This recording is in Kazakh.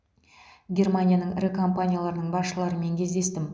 германияның ірі компанияларының басшыларымен кездестім